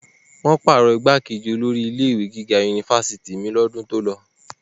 wọ́n pàrọ̀ igbákejì olórí ilé ìwé gíga unifásitì mi ní ọdún tó lọ